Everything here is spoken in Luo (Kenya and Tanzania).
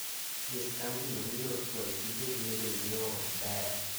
nyis kambino ni yor chwalo tijegi ne jonyiewo ok ber